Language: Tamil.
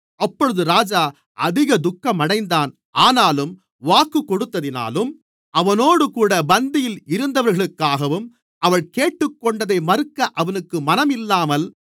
அப்பொழுது ராஜா அதிக துக்கமடைந்தான் ஆனாலும் வாக்குக் கொடுத்ததினாலும் அவனோடுகூட பந்தியில் இருந்தவர்களுக்காகவும் அவள் கேட்டுக்கொண்டதை மறுக்க அவனுக்கு மனம் இல்லாமல்